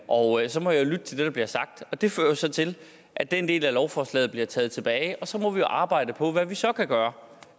og så må jeg lytte til det der bliver sagt det fører så til at den del af lovforslaget bliver taget tilbage og så må vi arbejde på hvad vi så kan gøre